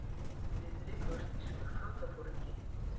diðrik var þýskur flotaforingi